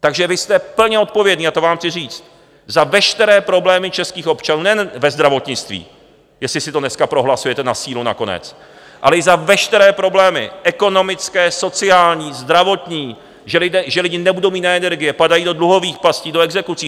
Takže vy jste plně odpovědní, a to vám chci říct, za veškeré problémy českých občanů nejen ve zdravotnictví, jestli si to dneska prohlasujete na sílu nakonec, ale i za veškeré problémy ekonomické, sociální, zdravotní, že lidé nebudou mít na energie, padají do dluhových pastí, do exekucí.